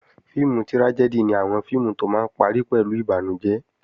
Fíìmù trájẹ́dì ni àwọn fíìmù tó máa ń parí pẹ̀lú ìbànújẹ́